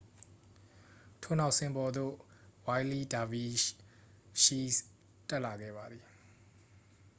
ထို့နောက် စင်ပေါ်သို့ ဝှိုင်းလီးလ်ဒါဗီရှီးစ် တက်လာခဲ့ပါသည်